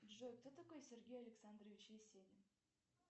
джой кто такой сергей александрович есенин